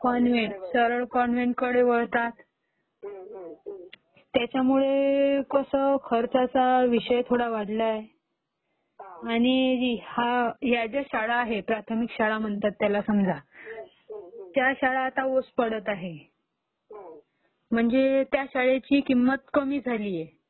Convent ...कारण कॉन्वेन्टकडे वळतात...त्याच्यामुळे कसं खर्चाचा विषय थोडा वाढलाय....आणि ह्या ज्या शाळा आहेत...प्राथमिक शाळा म्हणतात त्याला समजा त्या शाळा आता ओस पडत आहेत...म्ङणजे त्या शाळेची किंमत कमी झालिये.